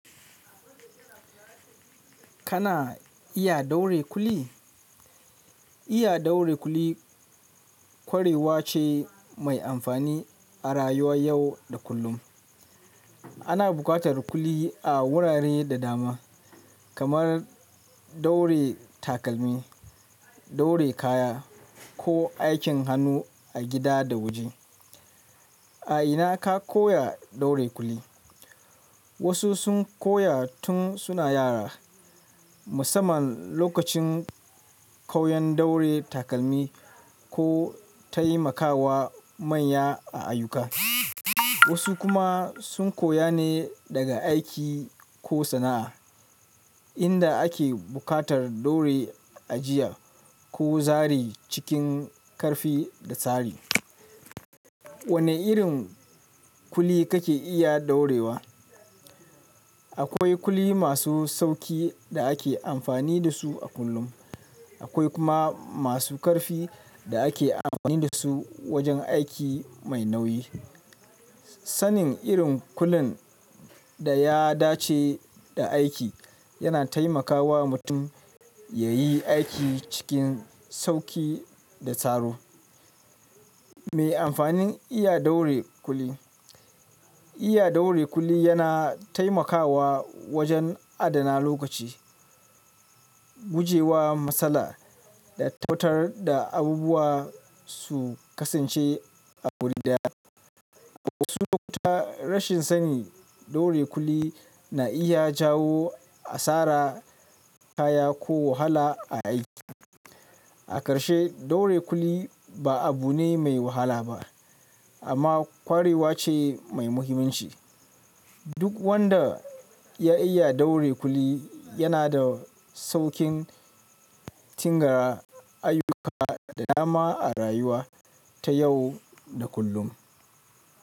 Kana iya ɗaure kuli? Iya ɗaure kuli kwarewa ce mai amfani a rayuwar yau da kullum. Ana buƙatar kuli a wurare da dama, kamar ɗaure takalmi, ɗaure kaya ko aikin hannu a gida da waje. A ina ka koya ɗaure kuli? Wasu sun koya tun suna yara, musamman lokacin koyan ɗaure takalmi ko taimakawa manya a ayyuka. Wasu kuma sun koya ne daga aiki ko sana'a, inda ake buƙatar ɗaure ajiyar ko zare cikin ƙarfi da tsari. Wane irin kuli kake iya ɗaurewa? Akwai kuli masu sauƙi da ake amfani da su a kullum, akwai kuma masu ƙarfi da ake amfani da su wajen aiki mai nauyi. Sanin irin kulin da ya dace da aiki yana taimakawa mutum yayi aiki cikin sauƙi da tsaro. Me amfanin iya ɗaure kuli? Iya ɗaure kuli yana taimakawa wajen adana lokaci, gujewa matsala da tauta da abubuwa su kasance a wuri daya. Wasu lokuta rashin sani ɗaure kuli na iya jawo asara, kaya ko wahala a aiki. A ƙarshe, ɗaure kuli ba abu ne mai wahala ba, amma kwarewa ce mai muhimmanci. Duk wanda ya iya ɗaure kuli yana da sauƙin tin ga ayyuka da dama a rayuwa ta yau da kullum.